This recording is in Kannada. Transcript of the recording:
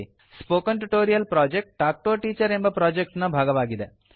spoken tutorial project talk to a teacher ಎಂಬ ಪ್ರಾಜೆಕ್ಟ್ ನ ಭಾಗವಾಗಿದೆ